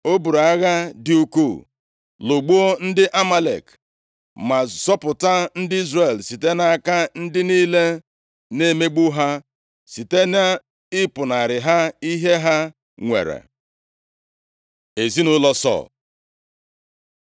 O buru agha dị ukwuu, lụgbuo ndị Amalek; ma zọpụta ndị Izrel site nʼaka ndị niile na-emegbu ha site nʼịpụnarị ha ihe ha nwere. Ezinaụlọ Sọl